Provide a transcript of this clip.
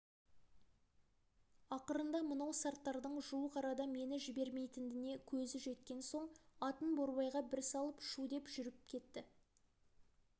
ақырында мынау сарттардың жуық арада мені жібермейтініне көзі жеткен соң атын борбайға бір салып шу деп жүріп берді